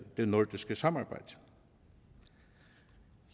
det nordiske samarbejde